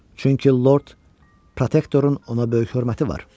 Çünki Lord Protektorun ona böyük hörməti var.